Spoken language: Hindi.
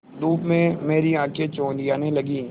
धूप में मेरी आँखें चौंधियाने लगीं